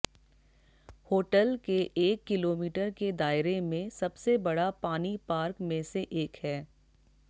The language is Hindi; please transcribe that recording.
होटल के एक किलोमीटर के दायरे में सबसे बड़ा पानी पार्क में से एक है